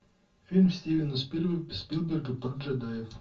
фильм стивена спилберга про джедаев